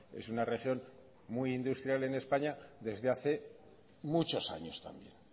es una región muy industrial en españa desde hace muchos años también